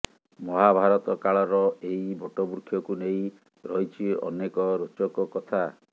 ମହାଭାରତ କାଳର ଏହି ବଟବୃକ୍ଷକୁ ନେଇ ରହିଛି ଅନେକ ରୋଚକ କଥା